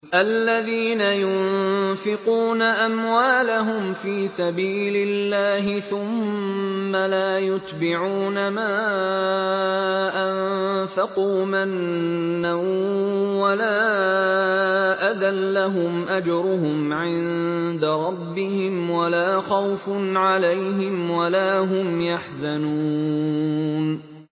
الَّذِينَ يُنفِقُونَ أَمْوَالَهُمْ فِي سَبِيلِ اللَّهِ ثُمَّ لَا يُتْبِعُونَ مَا أَنفَقُوا مَنًّا وَلَا أَذًى ۙ لَّهُمْ أَجْرُهُمْ عِندَ رَبِّهِمْ وَلَا خَوْفٌ عَلَيْهِمْ وَلَا هُمْ يَحْزَنُونَ